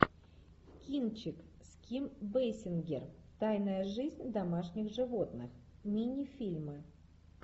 кинчик с ким бейсингер тайная жизнь домашних животных мини фильмы